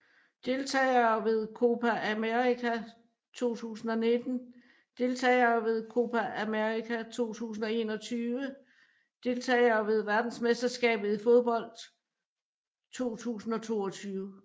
Deltagere ved Copa América 2019 Deltagere ved Copa América 2021 Deltagere ved verdensmesterskabet i fodbold 2022